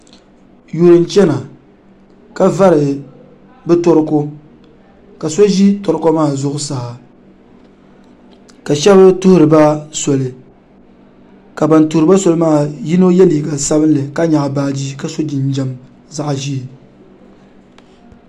yuri n chɛna ka vari bi torooko ka so ʒi torooko maa zuɣusaa ka shab tuhuriba soli ka bin tuhuriba soli maa yino yɛ liiga sabinli ka nyaɣa baaji ka yɛ liiga zaɣ ʒiɛ